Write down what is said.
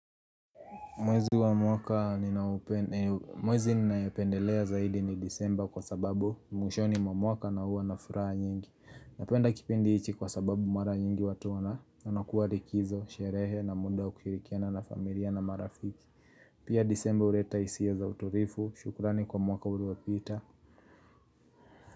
Mwezi wa mwaka, mwezi ninayopendelea zaidi ni Desemba kwa sababu mwishoni mwa mwaka na huwa na furaha nyingi. Napenda kipindi hichi kwa sababu mara nyingi watu wanakuwa likizo, sherehe na muda wa kushirikiana na familia na marafiki. PiaDesemba huleta hisia za utulivu. Shukurani kwa mwaka uliopita.